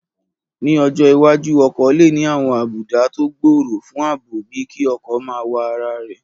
Ní ọjọ́ iwájú, ọkọ̀ lè ní àwọn àbùdá tó gbòòrò fún ààbò bíi kí ọkọ̀ máa wa ara rẹ̀